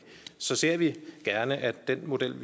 ser vi gerne at den model